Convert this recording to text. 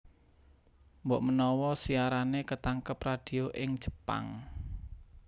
Mbokmenawa siarané ketangkep radio ing Jepang